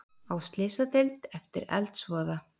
Á slysadeild eftir eldsvoða